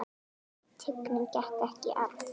Tignin gekk ekki í arf.